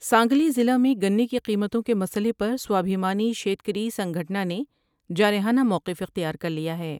سانگلی ضلع میں گنے کی قیمتوں کے مسئلے پر سوابھیمانی شیکری سنگھٹنا نے جارحانہ موقف اختیار کر لیا ہے ۔